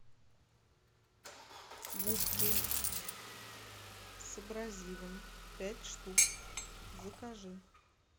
губки с абразивом пять штук закажи